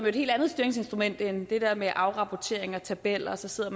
et helt andet styringsinstrument end det der med at lave afrapportering og tabeller og så sidder